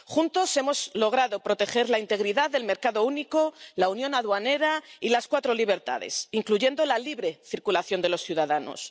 Juntos hemos logrado proteger la integridad del mercado único, la Unión Aduanera y las cuatro libertades —incluyendo la libre circulación de los ciudadanos—.